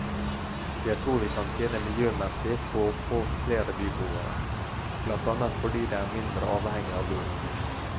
Jeg tror vi kan tjene miljømessig på å få flere byboere, blant annet fordi de er mindre avhengig av bil.